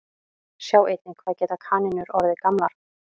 Sjá einnig Hvað geta kanínur orðið gamlar?